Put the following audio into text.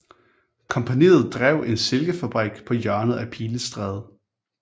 Kompagniet drev en silkefabrik på hjørnet af Pilestræde